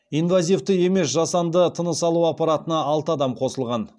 инвазивті емес жасанды тыныс алу аппаратына алты адам қосылған